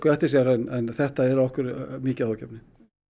eftir sér en þetta er okkur mikið áhyggjuefni